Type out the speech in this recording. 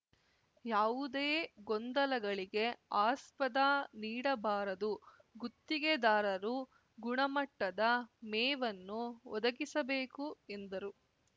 ಯಾವುದೇ ಗೊಂದಲಗಳಿಗೆ ಆಸ್ಪದ ನೀಡಬಾರದು ಗುತ್ತಿಗೆದಾರರು ಗುಣಮಟ್ಟದ ಮೇವನ್ನು ಒದಗಿಸಬೇಕು ಎಂದರು